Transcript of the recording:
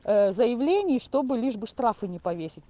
заявление чтобы лишь бы штрафы не повесить